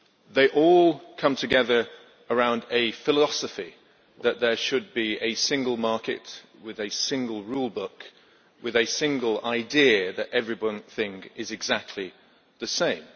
They all come together around a philosophy that there should be a single market with a single rule book and with a single idea that every one thing is exactly the same.